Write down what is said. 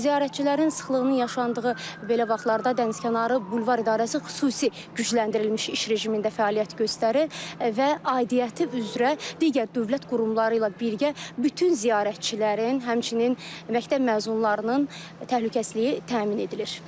Ziyarətçilərin sıxlığının yaşandığı belə vaxtlarda dənizkənarı bulvar idarəsi xüsusi gücləndirilmiş iş rejimində fəaliyyət göstərir və aidiyyatı üzrə digər dövlət qurumları ilə birgə bütün ziyarətçilərin, həmçinin məktəb məzunlarının təhlükəsizliyi təmin edilir.